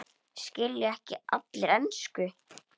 Skilja ekki allir ensku?